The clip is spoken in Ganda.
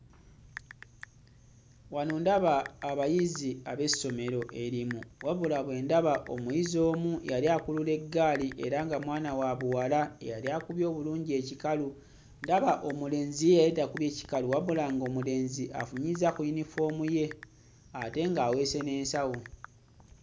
Wano ndaba abayizi ab'essomero erimu wabula bwe ndaba omuyizi omu yali akulula eggaali era nga mwana wa buwala eyali akubye obulungi ekikalu ndaba omulenzi ye yali takubye kikalu wabula ng'omulenzi afunyizza ku yinifoomu ye ate ng'aweese n'ensawo.